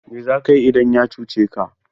Mai za ka yi idan ya cuce ka?